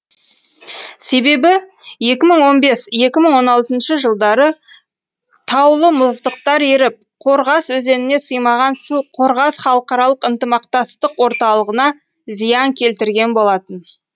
себебі екі мың он бес екі мың он алтыншы жылдары таулы мұздықтар еріп қорғас өзеніне сыймаған су қорғас халықаралық ынтымақтастық орталығына зиян келтірген болатын